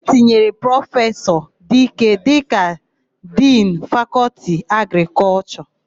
E tinyere Prọfesọ Idike dịka Dinu Fakọltị Agrịkọlshọ.